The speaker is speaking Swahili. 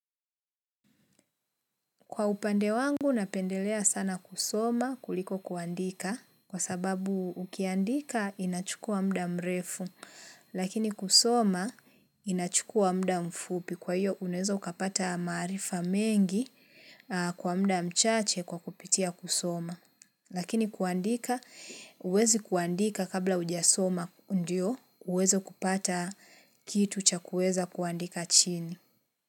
Kwa upande wangu napendelea sana kusoma kuliko kuandika kwa sababu ukiandika inachukua muda mrefu lakini kusoma inachukua muda mfupi kwa iyo unaweza kapata maarifa mengi kwa muda mchache kwa kupitia kusoma. Lakini kuandika uwezi kuandika kabla ujasoma ndio uwezo kupata kitu cha kuweza kuandika chini.